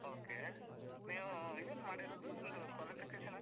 Okay , ನೀವು ಏನ್ ಮಾಡಿರೋದು? ನಿಮ್ದು qualification ಏನ್?